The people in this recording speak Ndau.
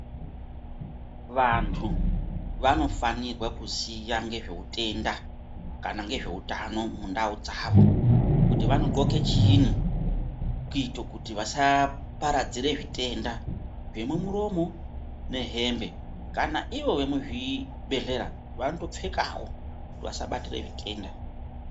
Vantu vanofanirwe kuziya ngezveutenda kana ngezveutano mundau dzavo kuti vanogxoke chiini kuita kuti vasaaparadzire zvitenda zvemumuromo nehembe, kana ivo vemuzvibhedhlera vanotopfekawo kuti vasabatire zvitenda.